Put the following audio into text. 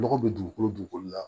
Lɔgɔ bɛ dugukolo dugukolo la